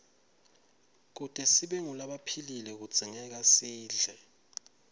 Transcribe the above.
kute sibe ngulabaphilile kudzingekasidle